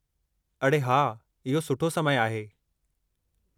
अड़े हा, इहो सुठो समय आहे।